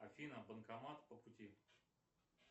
афина банкомат по пути